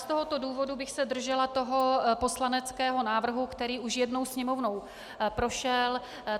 Z tohoto důvodu bych se držela toho poslaneckého návrhu, který už jednou Sněmovnou prošel.